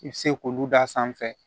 I bɛ se k'olu d'a sanfɛ